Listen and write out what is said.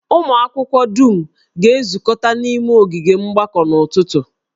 Ụmụ akwụkwọ dum ga-ezukọta n'ime ogige mgbakọ n'ụtụtụ